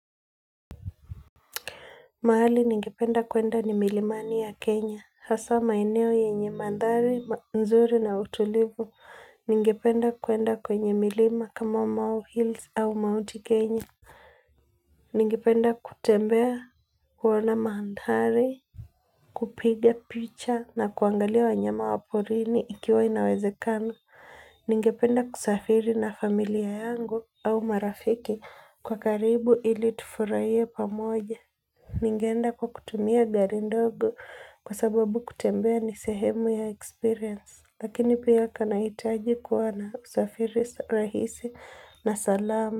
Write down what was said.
Mahali ningependa kuenda ni milimani ya Kenya haswa maeneo yenye mandhari nzuri na utulivu ningependa kuenda kwenye milima kama mau hills au maunti kenya ningependa kutembea kuona mandhari kupiga picha na kuangalia wanyama wa porini ikiwa inawezekana ningependa kusafiri na familia yangu au marafiki kwa karibu ili tufurahiepamoja. Ningeenda kwa kutumia gari ndogo kwa sababu kutembea ni sehemu ya experience lakini pia kanahitaji kuwa na usafiri rahisi na salamu.